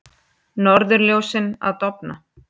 Norðurljósin að dofna